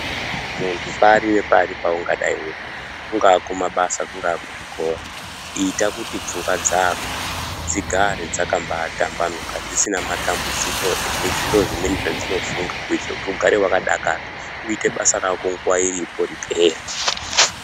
Muntu pari ne pari paungadai uri kunga ku mabasa kungaa kuzvikora ita kuti pfungwa dzako dzigare dzakambai tambanuka dzisina matambudziko ne zviro zvimweni zvadzino funga kuitira kuti ugare wakadakara uite basa rako nguva iripo ripere.